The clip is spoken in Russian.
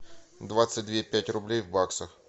двадцать две пять рублей в баксах